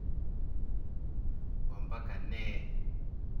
Ompaka nee.